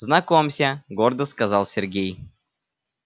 знакомься гордо сказал сергей